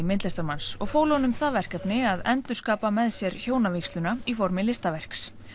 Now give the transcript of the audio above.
myndlistarmanns og fólu honum það verkefni að endurskapa með sér hjónavígsluna í formi listaverks